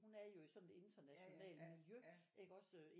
Hun er jo i sådan et internationalt miljø iggås